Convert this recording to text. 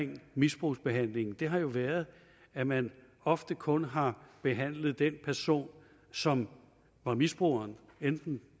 med misbrugsbehandlingen har jo været at man ofte kun har behandlet den person som var misbruger enten